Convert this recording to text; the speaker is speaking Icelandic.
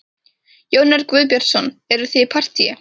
Jón Örn Guðbjartsson: Eruð þið í partýi?